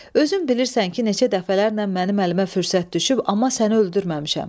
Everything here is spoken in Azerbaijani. özün bilirsən ki, neçə dəfələrlə mənim əlimə fürsət düşüb, amma səni öldürməmişəm.